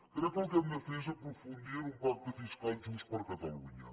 crec que el que hem de fer és aprofundir en un pacte fiscal just per a catalunya